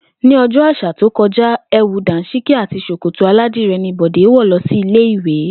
Ní o̩jó̩ à̩sà tí ó ko̩já, è̩wù dàńs̩íkí àti s̩òkòtò aládiré̩ ní Bò̩dé wò̩ lo̩ sí ilé ìwé